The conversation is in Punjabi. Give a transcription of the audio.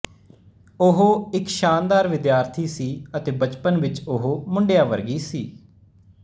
ਉਹ ਇੱਕ ਸ਼ਾਨਦਾਰ ਵਿਦਿਆਰਥੀ ਸੀ ਅਤੇ ਬਚਪਨ ਵਿੱਚ ਉਹ ਮੁੰਡਿਆ ਵਰਗੀ ਸੀ